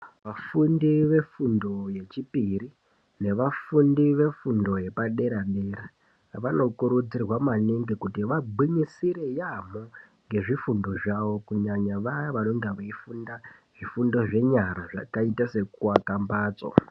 Vafundi vefundo yechipiri nevafundi vefundo yepadera dera vanokurudzirwa maningi kuti vagwinyisire yaamho ngefundo zvavo kunyanya vaya vanonga veifunda zvifundo zvenyara zvakaita sekuaka mbatso.